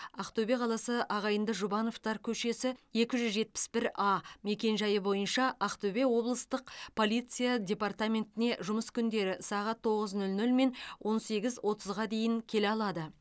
ақтөбе қаласы ағайынды жұбановтар көшесі екі жүз жетпіс бір а мекенжайы бойынша ақтөбе облыстық полиция департаментіне жұмыс күндері сағат тоғыз нөл нөл мен он сегіз отызға дейін келе алады